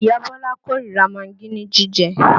Ìyá Bọ́lá kó ríra magí ní jíjẹ